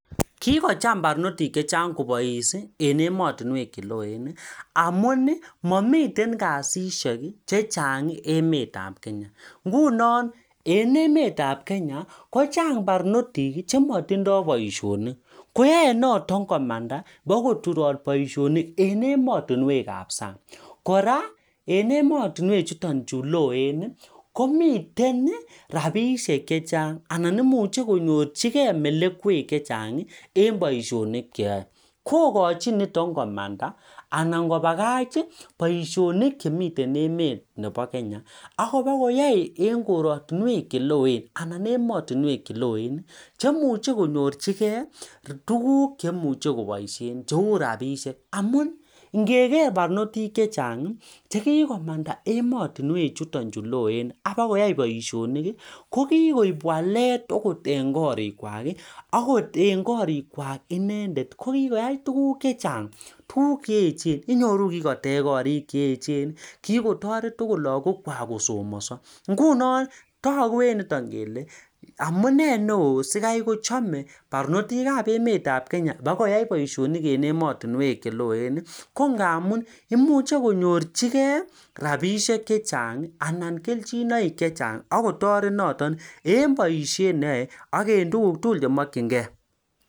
Kicham barnotik chechang kobais eng emet neloo amuu mamitei kasishek chechang eng Kenya koraa mitei rabishek chechang eng emet neloo